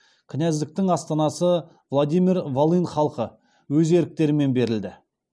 кінәздіктің астанасы владимир волынь халқы өз еріктерімен беріледі